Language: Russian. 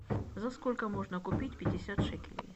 за сколько можно купить пятьдесят шекелей